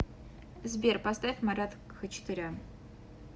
сбер поставь марат хачатурян